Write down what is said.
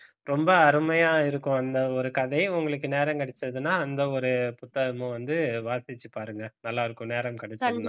ரொம்ப அருமையா இருக்கும் அந்த ஒரு கதையை உங்களுக்கு நேரம் கிடைச்சதுன்னா அந்த ஒரு புத்தகமும் வந்து வாசிச்சு பாருங்க நல்லா இருக்கும் நேரம் கிடைச்சா